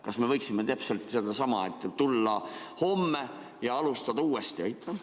Kas me võiksime tulla homme ja alustada uuesti?